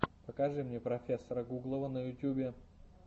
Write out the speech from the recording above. покажи мне профессора гуглова на ютубе